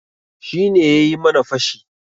Shi ne yayi mana fashi.